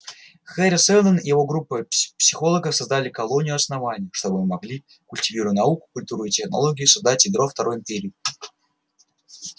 хари сэлдон и группа его психологов создали колонию основание чтобы мы могли культивируя науку культуру и технологию создать ядро второй империи